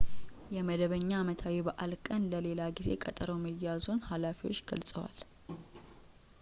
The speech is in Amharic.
የመደበኛ አመታዊ በዓል ቀን ለሌላ ጊዜ ቀጠሮ መያዙን ኃላፊዎች ገልፀዋል